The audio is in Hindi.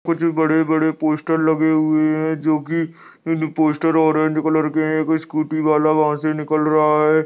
कुछ बड़े-बड़े पोस्टर लगे हुए हैं जो कि पोस्टर ऑरेंज कलर के हैं एक स्कूटी वाला वहां से निकल रहा है |